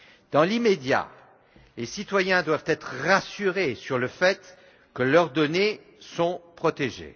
Dans l'immédiat, les citoyens doivent être rassurés sur le fait que leurs données sont protégées.